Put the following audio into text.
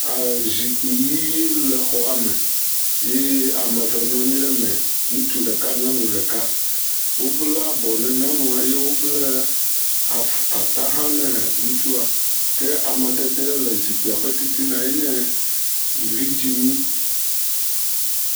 Zikpui ɣi le xɔa me eye ame eve nɔ anyi ɖe me. Ŋutsu ɖeka, nyɔnu ɖeka le. Wo bla abɔ ne nyɔnua eye wò bla ata hã nɛ ŋutsua. Ke amadede le zikpui ƒe titina enye vidzi mí